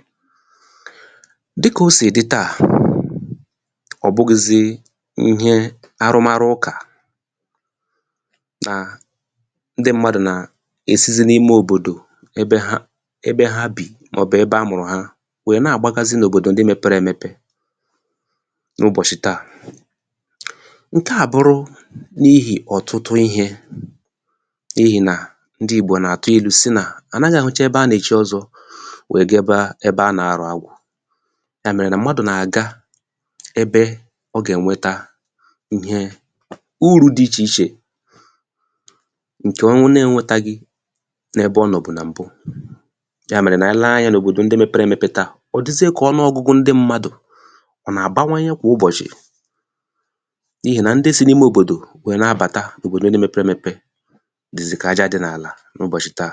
file 121 dịkà o sì dị tà ọ̀ bughịzị ihẹ arụmarụ ụkà nà ndị mmadụ̀ nà èsizi n’ime òbòdò ẹbẹ ha ẹbẹ ha bì mà ọ̀ bụ̀ ebe a mụrụ̀ ha wẹ nà àgbagazị nà òbòdo mẹpẹrẹ ẹmẹpẹ n’ụbọ̀shị̀ tà ǹkẹ̀ à àbụrụ n’ihì ọ̀tụtụ ihē n’ihì nà ndị Ìgbo nà àtụ ilū sị nà ànaghị àhụcha ebe a nà èchi ọzọ wẹ ga ẹbẹ a nà arụ̀ agwọ̄ yà mèrè nà mmadù nà àga ẹbẹ ọ gà ẹ̀nwẹta ịhẹ urū dị ichè ichè ǹkè ọ na ẹnwẹtaghị n’ẹbẹ ọ nọ̀bù nà m̀bụ yà mẹ̀rẹ̀ nà ànyị lẹ anya nà òbòdo ndị mẹpẹre ẹmẹpẹ tà ọ̀ dịzịa kà ọnụọgụgụ ndị mmadù à nà àbawanye kwà ụbọ̀chị̀ n’ihì nà ndị si n’ime òbòdò wẹ na abàta n’òbòdo mẹpẹrẹ ẹmẹpẹ dị̀zị̀ kà aja dị nà àlà n’ụbọ̀chị̀ tà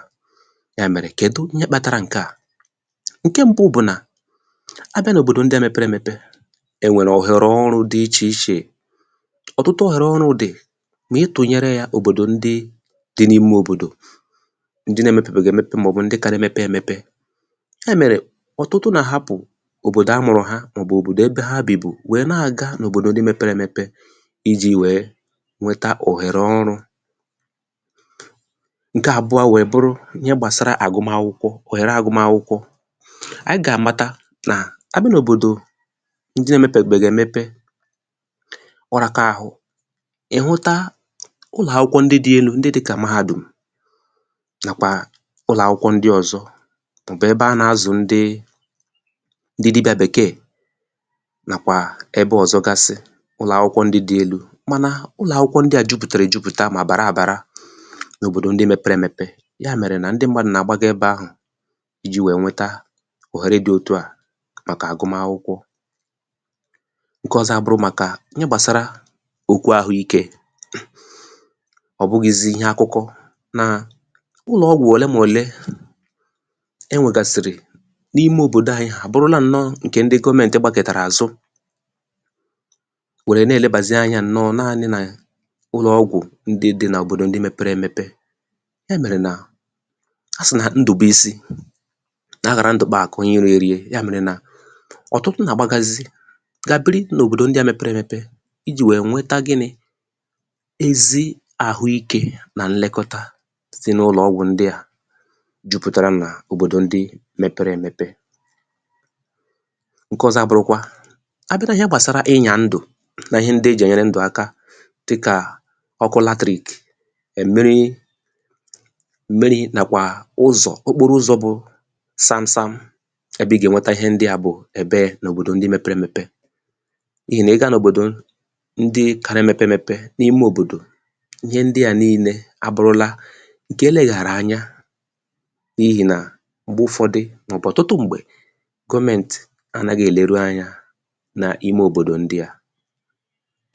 yà mẹ̀rẹ̀ kẹdụ ihẹ kpatara ǹkẹ̀ à ǹkẹ mbụ bụ̀ nà abịa n’òbòdo mẹpẹrẹ ẹmẹpẹ ẹ nwẹ̀rẹ òhèrè ọrụ dị ichè ichè ọ̀tụtụ òhèrè ọrụ dị mà ị tụnyẹrẹ ya òbòdò ndị dị n’ime òbòdò ndị na emepèbèghì èmepe mà ọ̀ bụ̀ ndị ka ga emepe emepe ha mẹrẹ ọ̀tụtụ ndị nà àhapụ òbòdo a mụ̀rụ ha mà ọ̀ bụ̀ òbòdo ha bìbù ijī wẹ nwẹta òhèrè ọrụ ǹkẹ àbụọ wẹ bụrụ ihẹ gbàsara àgụmakwụkwọ mà ọ̀ bụ̀ òhère àgụmakwụkwọ anyị gà àmata nà a bịa n’òbòdò ndị na emepèbẹghị̀ èmepe ọ raka arụ ị̀ hụta ụlọ̀ akwụkwọ dị elū ndị dịkà Mahādùm nàkwà ụlọ akwụkwọ ndị ọzọ mà ọ̀ bụ̀ ẹbẹ a nà azụ̀ ndị dịbịa Bèkèè nàkwà ẹbẹ ọ̀zọ gasị ụlọ̀ akwụkwọ dị elū ijī wẹ nwẹta òhère dị otuà màkà àgụmakwụkwọ ǹkẹ ọzọ abụrụ màkà ihe gbàsara okwu ahụikē ọ̀ bụghịzị ịhẹ akụkọ nà ụlọ̀ ọgwụ ọlee nà olee e nwegàsịrị n’ime òbòdo anyị à bụrụla ǹnọ ịhẹ ndị gọmẹntị anyị gbakọ̀tara àzụ wèrè nà ènebàzị anyā ǹnọ nannị nà ụlọ̀ ọgwụ̀ ndị dị nà òbòdò ndị mẹpẹrẹ ẹmẹpẹ e mẹ̀rẹ̀ nà a sị̀ nà ndụ̀bịsị nà aghara ndụ kpa àkụ̀ onye rie eri yà mèrè nà ọ̀tutụ nà àgbagazị gà biri n’òbòdò ndị ahụ mẹpẹrẹ ẹmẹpẹ ijī wẹ nwẹta gịnị ezi àhụ ikē na nlẹkọta site n’ụlọ̀ ọgwụ̀ ndịà juputara nà òbòdò ndị mẹpẹrẹ ẹmẹpẹ nkẹ ọzọ à bụrụkwa a bịà nà ịhẹ gbàsara ịnyà ndụ na ịhẹ ndị ejì ẹ̀nyẹrẹ ndụ̀ akà dịkà ọkụ latrìkì mmiri nàkwà uzọ̀ okporo ụzọ̄ bụ sam sam ẹbẹ ị gà ẹnwẹtẹ ịhẹ ndịà bụ̀ n’òbòdò ẹbẹ mepere emepe n’ihì nà ị gà nà òbòdò ndị ka na ẹmẹpẹ ẹmẹpẹ n’ime òbòdò ịhẹ ndịà nille àbụrụla ǹkẹ̀ e lèghàrà anya n’ihì nà m̀gbẹ ụfọdị mà ọ̀ bụ̀ ọ̀tụtụ m̀gbẹ gọmẹntị anaghị ẹ̀lerụ anyā na ime òbòdò ndịà